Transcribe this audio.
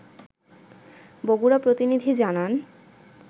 বগুড়া প্রতিনিধি জানান